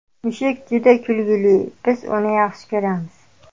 Mushuk juda kulgili, biz uni yaxshi ko‘ramiz!